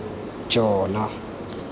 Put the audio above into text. jona